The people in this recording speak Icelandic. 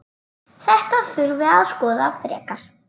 Þetta þurfi að skoða frekar.